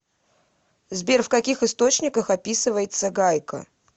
сбер в каких источниках описывается гайка